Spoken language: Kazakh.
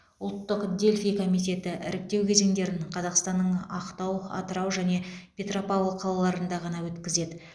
ұлттық дельфий комитеті іріктеу кезеңдерін қазақстанның ақтау атырау және петропавл қалаларында ғана өткізеді